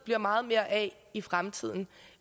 bliver meget mere af i fremtiden